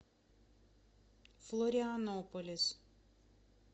флорианополис